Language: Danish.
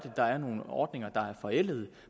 der er nogle ordninger er forældede